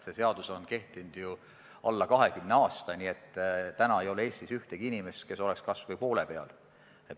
See seadus on kehtinud ju alla 20 aasta, nii et täna ei ole Eestis ühtegi inimest, kes oleks jõudnud kas või poole peale.